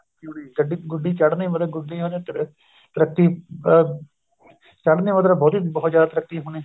ਹੋਣੀ ਗੁੱਡੀ ਚੜਣੀ ਮਤਲਬ ਗੁੱਡੀਆਂ ਨੇ ਤਰੱਕੀ ਅਹ ਚੜਣੀਆਂ ਮਤਲਬ ਬਹੁਤ ਜਿਆਦਾ ਤਰੱਕੀ ਹੋਣੀ